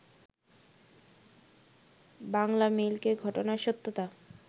বাংলামেইলকে ঘটনার সত্যতা